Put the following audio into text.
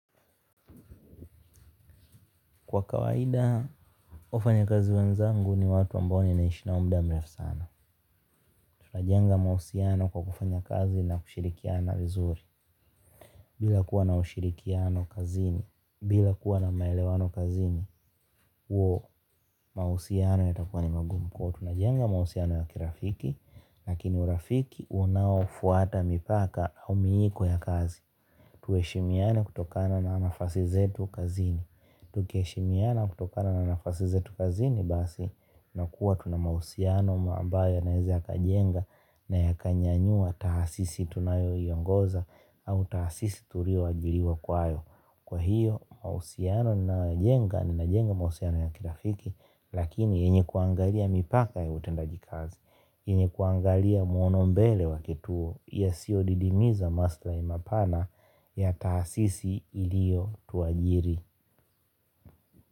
Kwa kawaida, wafanyakazi wenzangu ni watu ambao ninaishi nao muda mrefu sana. Tunajenga mahusiano kwa kufanya kazi na kushirikiana vizuri. Bila kuwa na ushirikiano kazini bila kuwa na maelewano kazini huo mahusiano yatakuwa ni magumu. Tunajenga mahusiano ya kirafiki, lakini urafiki unaofuata mipaka au miiko ya kazi. Tuheshimiane kutokana na nafasi zetu kazini. Tukiheshimiana kutokana na nafasi zetu kazini basi na kuwa tuna mahusiano ambayo yanaweza yakajenga na yakanyanyua tahasisi tunayoiongoza au tahasisi tuliyoajiliwa kwayo. Kwa hiyo mahusiano ninayoyajenga nimejenga mahusiano ya kirafiki lakini yenye kuangalia mipaka ya utendaji kazi. Yenye kuangalia mwono mbele wa kituo yasiyodidimiza maslahi mapana ya tahasisi iliyotuajiri.